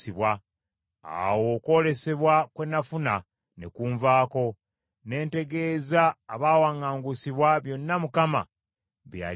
Awo okwolesebwa kwe nafuna ne nkuvaako, ne ntegeeza abaawaŋŋangusibwa byonna Mukama bye yali andaze.